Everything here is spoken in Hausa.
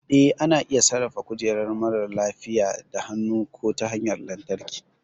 Eh, ana iya sarrafa kujerar marar lafiya da hannu ko ta hanyar lantarki.